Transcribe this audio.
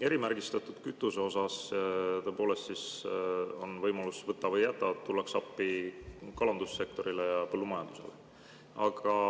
Erimärgistatud kütuse puhul tõepoolest on võimalus, võta või jäta – tullakse appi kalandussektorile ja põllumajandusele.